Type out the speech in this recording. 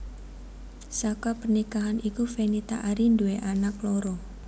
Saka pernikahan iki Fenita Arie nduwé anak loro